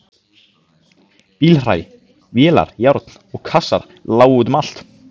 Bílhræ, vélar, járn og kassar lágu út um allt.